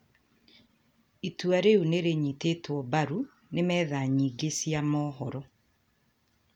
Itua rĩu nĩ rĩanyitĩtwo mbaru nĩ metha yingĩ cia mohoro.